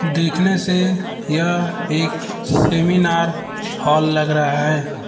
देखने से यह एक सेमिनार हॉल लग रहा है।